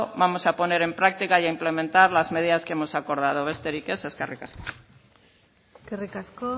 vamos a poner en práctica e implementar las medidas que hemos acordado besterik ez eskerrik asko eskerrik asko